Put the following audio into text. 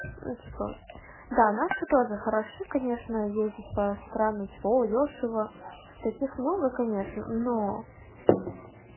ну типа да наши тоже хороши конечно ездить по странам типа о дёшево таких много конечно но